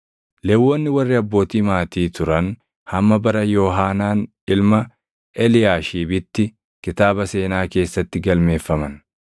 Lewwonni warri abbootii maatii turan hamma bara Yoohaanaan ilma Eliyaashiibitti kitaaba seenaa keessatti galmeeffaman.